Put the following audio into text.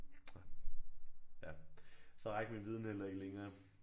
Ja. Ja. Så rækker min viden heller ikke længere